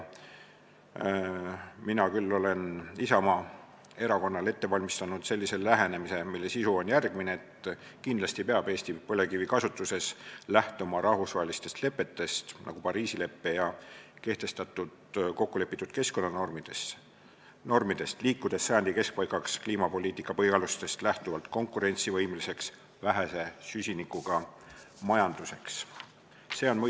Mina olen Isamaa erakonnale ette valmistanud lähenemise, mille sisu on järgmine: kindlasti peab Eesti põlevkivikasutuses lähtuma rahvusvahelistest lepetest, nagu Pariisi lepe, ja kehtestatud kokkulepitud keskkonnanormidest, liikudes sajandi keskpaigaks kliimapoliitika põhialustest lähtuvalt konkurentsivõimelise vähese süsinikuga majanduse suunas.